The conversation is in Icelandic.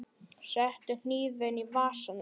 Settu hnífinn í vasa minn.